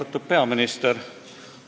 Austatud peaminister!